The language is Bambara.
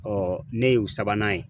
ne y'u sabanan ye.